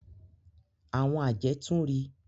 Àwọn àjẹ́ tun ri.